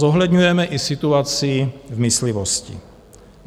Zohledňujeme i situaci v myslivosti.